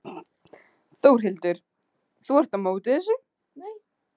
Þórhildur: Þú ert á móti þessu?